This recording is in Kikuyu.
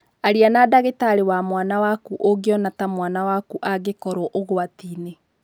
Arĩa na ndagĩtarĩ wa mwana waku ũngĩona ta mwana waku angĩkorũo ũgwati-inĩ.